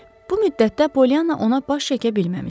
Bu müddətdə Polyanna ona baş çəkə bilməmişdi.